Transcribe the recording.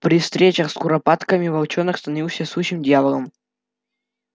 при встречах с куропатками волчонок становился сущим дьяволом